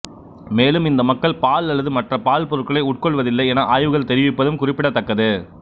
மேலும் இந்த மக்கள் பால் அல்லது மற்ற பால்பொருட்களை உட்கொள்வதில்லை என ஆய்வுகள் தெரிவிப்பதும் குறிப்பிடத்தக்கது